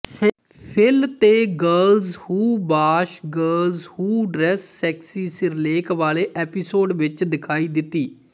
fill ਤੇ girls who bash girls who dress sexy ਸਿਰਲੇਖ ਵਾਲੇ ਐਪੀਸੋਡ ਵਿੱਚ ਦਿਖਾਈ ਦਿੱਤੀ